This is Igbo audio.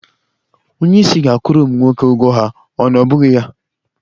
Onye isi ga akwụrụ ụmụ nwoke ugwo ha, ọ na ọbụghị ya.